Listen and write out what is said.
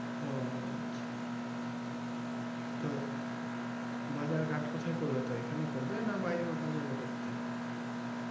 ও আচ্ছা তো বাজার ঘাট কোথায় করবে তো এখানেই করবে না বাইরে কোথাও যাবে করতে